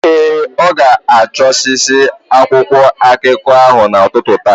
Ee, ọ ga-achụsasị akwụkwụ akịka ahụ n’ụtụtụ taa.